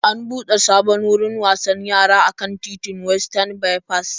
An buɗe sabon wurin wasan yara a kan titin Westan Baifas.